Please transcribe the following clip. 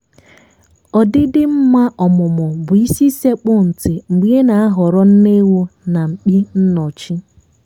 ọdịdị mma ọmụmụ bụ isi sekpù nti mgbe ị na-ahọrọ nne ewu nà mkpi nọchi.